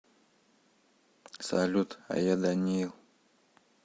салют а я даниил